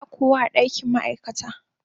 Ba kowa a dakin ma'aikata.